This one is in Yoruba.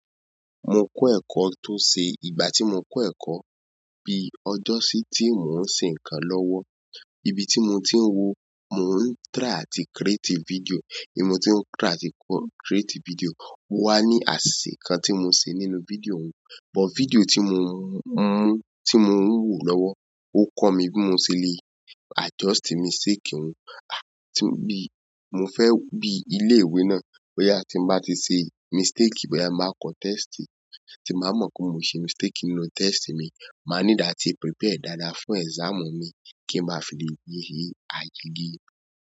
Mo kọ́ ẹ̀kọ́ tó ṣe, ìgbà tí mo kọ́ ẹ̀kọ́ bí ọjọ́ sí tí mò ń ṣe nǹkan lọ́wọ́, ibi tí mo ti ń wò, mò ń try àti create video. Ni mo tí ń try àti create video, ni mo wà ní àsisè kan tí mo ṣe nínú video òun, but video tí mo ń mú, tí mo ń wò lọ́wọ́, ó kọ́ mi bí mo ṣe le adjust mistake òun. À, tí bí mo fẹ́ bí ilé ìwé náà, bóyá tí mo bá ti ṣe mistake, bóyá máa kọ́ test, tí máa mọ̀ pé mo ṣe mistake nínú test mi, màá níláti prepare dáadáa fún exam mi kí ń má fi lè yege ayé yí.